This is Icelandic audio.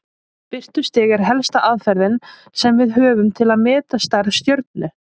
Birtustig er helsta aðferðin sem við höfum til að meta stærð stjörnu.